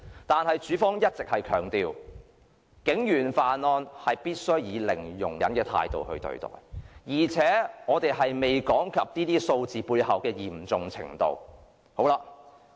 但是，署方一直強調，必須以零容忍的態度對待警員犯案。而且，我們仍未談及這些數字背後的嚴重程度。